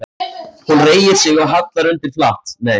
Hún reigir sig og hallar undir flatt.